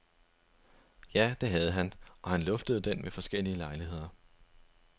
Ja, det havde han, og han luftede den ved forskellige lejligheder.